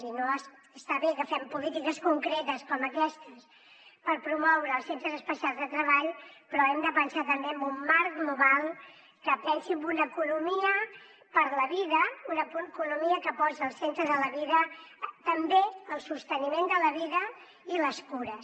i està bé que fem polítiques concretes com aquestes per promoure els centres especials de treball però hem de pensar també en un marc global que pensi en una economia per a la vida una economia que posi al centre de la vida també el sosteniment de la vida i les cures